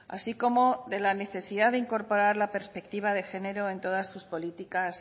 así como de la necesidad de incorporar la perspectiva de género en todas sus políticas